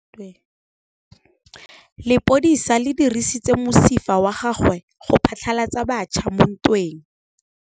Lepodisa le dirisitse mosifa wa gagwe go phatlalatsa batšha mo ntweng.